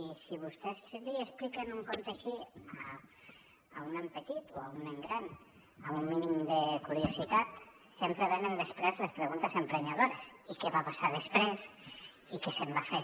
i si vostès li expliquen un conte així a un nen petit o a un nen gran amb un mínim de curiositat sempre venen després les preguntes emprenyadores i què va passar després i què se’n va fer